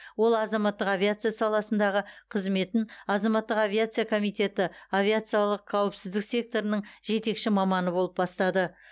ол азаматтық авиация саласындағы қызметін азаматтық авиация комитеті авиациялық қауіпсіздік секторының жетекші маманы болып бастады